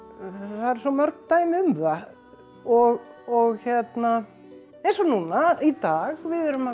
það eru svo mörg dæmi um það og og hérna eins og núna í dag við erum að